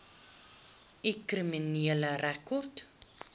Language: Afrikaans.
u kriminele rekord